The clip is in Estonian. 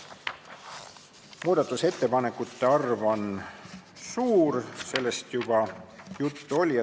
Muudatusettepanekute arv on suur, sellest oli juba juttu.